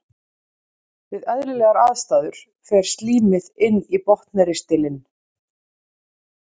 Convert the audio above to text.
Við eðlilegar aðstæður fer slímið inn í botnristilinn.